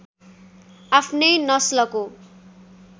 आफ्नै नस्लको